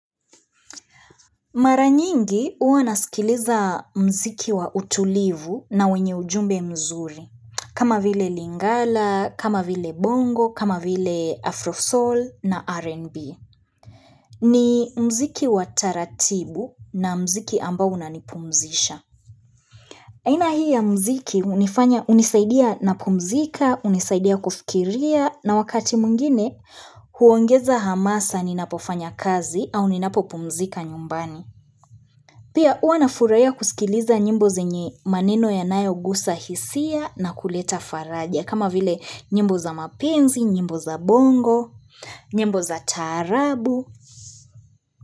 Mara nyingi huwa nasikiliza mziki wa utulivu na wenye ujumbe mzuri, kama vile lingala, kama vile bongo, kama vile afrosoul na rnb. Ni mziki wa taratibu na mziki ambao unanipumzisha. Aina hii ya mziki hunifanya hunisaidia na pumzika, hunisaidia kufikiria na wakati mwingine huongeza hamasa ninapofanya kazi au ninapopumzika nyumbani. Pia huwa nafurahiya kusikiliza nyimbo zenye maneno yanayo gusa hisia na kuleta faraja kama vile nyimbo za mapenzi, nyimbo za bongo, nyimbo za taarabu.